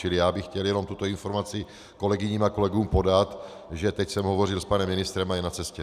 Čili já bych chtěl jenom tuto informaci kolegyním a kolegům podat, že teď jsem hovořil s panem ministrem a je na cestě.